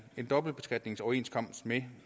dobbeltbeskatningsoverenskomst med